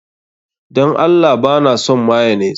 Dan Allah ba na son mayonnaise.